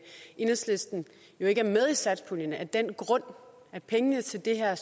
enhedslisten ikke er med i satspuljen af den grund at pengene til det her